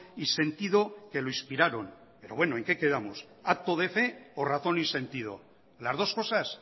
y sentido que lo inspiraron pero bueno en qué quedamos acto de fe o razón y sentido las dos cosas